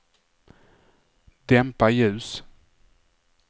dämpa ljus